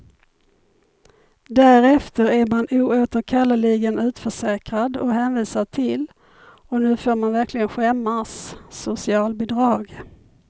Därefter är man oåterkalleligen utförsäkrad och hänvisad till, och nu får man verkligen skämmas, socialbidrag.